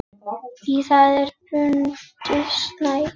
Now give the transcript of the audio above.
Í það er bundið snæri.